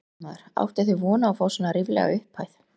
Fréttamaður: Áttuð þið von á að fá svona ríflega upphæð?